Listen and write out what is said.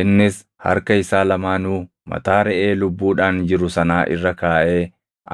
Innis harka isaa lamaanuu mataa reʼee lubbuudhaan jiru sanaa irra kaaʼee